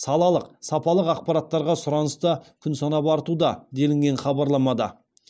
салалық сапалық ақпараттарға сұраныс та күн санап артуда делінген хабарламада